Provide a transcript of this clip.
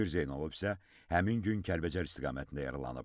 Şükür Zeynalov isə həmin gün Kəlbəcər istiqamətində yaralanıb.